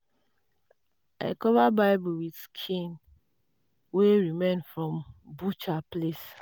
i cover bible with skin wey remain from butcher place.